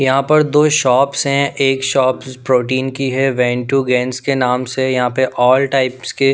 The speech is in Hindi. यहाँ पर दो शॉप्स हैं एक शॉप्स प्रोटीन की है वेंट टू गेंस के नाम से यहाँ पे ऑल टाइप्स के--